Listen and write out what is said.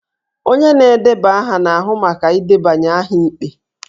Onye na-edeba aha na-ahụ maka ịdebanye aha ikpe